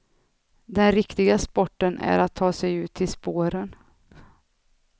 Den riktiga sporten är att ta sig ut till spåren.